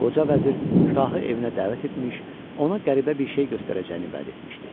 Qoca vəzir şahı evinə dəvət etmiş, ona qəribə bir şey göstərəcəyini vəd etmişdi.